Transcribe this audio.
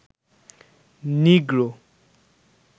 নিগ্রো